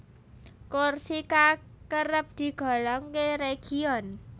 Korsika kerep digolongké région